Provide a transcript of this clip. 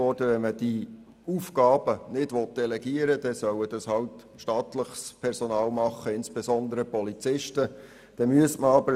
Wenn man diese Aufgaben nicht delegieren will, dann sollen sie halt von staatlichem Personal, insbesondere Polizisten, erledigt werden.